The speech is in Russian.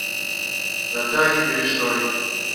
наталье бережной